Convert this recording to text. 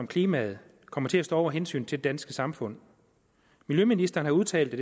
klimaet kommer til at stå over hensynet til det danske samfund miljøministeren har udtalt at